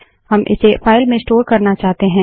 हम इसे फाइल में स्टोर करना चाहते हैं